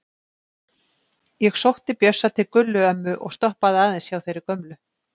Ég sótti Bjössa til Gullu ömmu og stoppaði aðeins hjá þeirri gömlu.